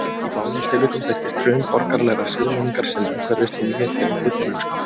Í báðum tilvikum birtist hrun borgaralegrar siðmenningar sem umhverfist í nýja tegund villimennsku.